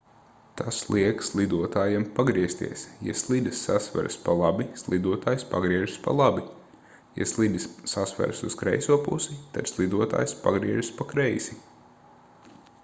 tas liek slidotājam pagriezties ja slidas sasveras pa labi slidotājs pagriežas pa labi ja slidas sasveras uz kreiso pusi tad slidotājs pagriežas pa kreisi